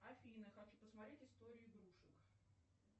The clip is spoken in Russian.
афина хочу посмотреть историю игрушек